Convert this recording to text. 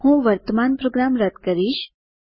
હું વર્તમાન પ્રોગ્રામ રદ કરીશ